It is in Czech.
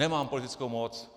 Nemám politickou moc.